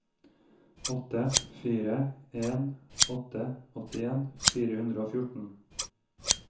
åtte fire en åtte åttien fire hundre og fjorten